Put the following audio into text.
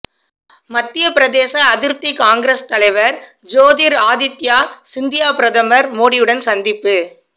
மத்தியப்பிரதேச அதிருப்தி காங்கிரஸ் தலைவர் ஜோதிர் ஆதித்யா சிந்தியா பிரதமர் மோடியுடன் சந்திப்பு